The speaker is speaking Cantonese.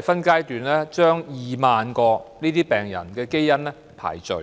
分階段把2萬名相關病人的基因排序。